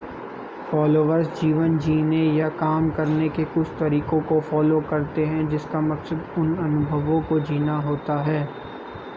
followers जीवन जीने या काम करने के कुछ तरीकों को फ़ॉलो करते हैं जिसका मकसद उन अनुभवों को जीना होता है